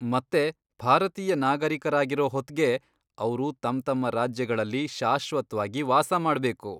ಮತ್ತೆ ಭಾರತೀಯ ನಾಗರೀಕರಾಗಿರೊ ಹೊತ್ಗೆ ಅವ್ರು ತಮ್ತಮ್ಮ ರಾಜ್ಯಗಳಲ್ಲಿ ಶಾಶ್ವತ್ವಾಗಿ ವಾಸಮಾಡ್ಬೇಕು.